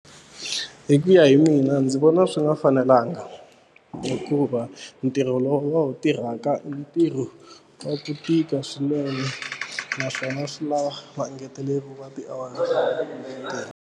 Hi ku ya hi mina ndzi vona swi nga fanelanga hikuva ntirho lowu va wu tirhaka i ntirho wa ku tika swinene naswona swi lava va engeteleriwa tiawara.